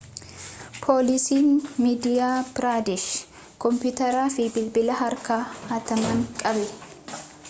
poolisiin madiyaa piraadesh kompiiyuteraa fi bilbila harkaa hataman qabe